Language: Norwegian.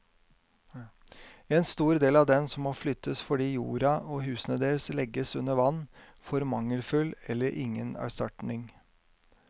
En stor del av dem som må flyttes fordi jorda og husene deres legges under vann, får mangelfull eller ingen erstatning.